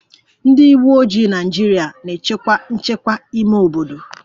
Ndị uweojii Naịjirịa na-echekwa nchekwa ime obodo